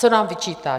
Co nám vyčítá?